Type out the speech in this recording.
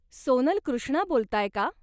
सोनल कृष्णा बोलताय का?